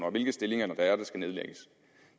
og hvilke stillinger der skal nedlægges